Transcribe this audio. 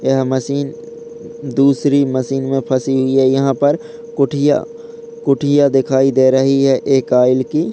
यह मशीन दूसरी मशीन में फंसी हुई है| यहाँ पर कुठिया कुठिया दिखाई दे रही है एक आइल की।